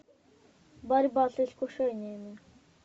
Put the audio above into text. борьба с искушениями